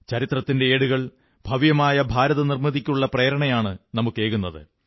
ചരിത്രത്തിന്റെ ഏടുകൾ ഭവ്യമായ ഭാരതനിർമ്മിതിക്കുള്ള പ്രേരണയാണു നമുക്കേകുന്നത്